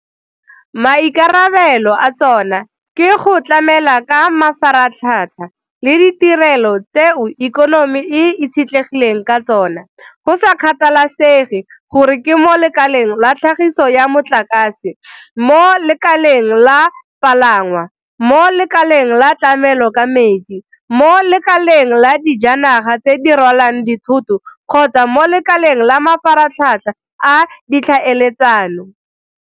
Maikarabelo a tsona ke go tlamela ka mafaratlhatlha le ditirelo tseo ikonomi e itshetlegileng ka tsona, go sa kgathalesege gore ke mo lekaleng la tlhagiso ya motlakase, mo lekaleng la palangwa, mo lekaleng la tlamelo ka metsi, mo lekaleng la dijanaga tse di rwalang dithoto kgotsa mo lekaleng la mafaratlhatlha a ditlhaeletsano.